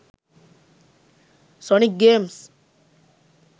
sonic games